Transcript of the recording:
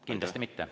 Kindlasti mitte.